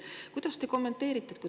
Kuidas te seda kommenteerite?